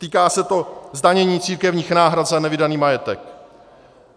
Týká se to zdanění církevních náhrad za nevydaný majetek.